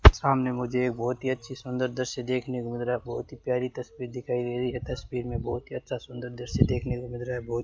सामने मुझे बहोत ही अच्छी सुंदर दृश्य देखने को मिल रहा है बहोत ही प्यारी तस्वीर दिखाई दे रही है तस्वीर में बहोत ही अच्छा सुंदर दृश्य देखने को मिल रहा है बहुत --